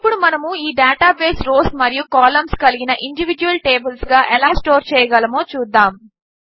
ఇప్పుడు మనము ఈ డేటాను రోస్ మరియు కాలంస్ కలిగిన ఇండివీడ్యువల్ టేబిల్స్గా ఎలా స్టోర్ చేయగలమో చూద్దాము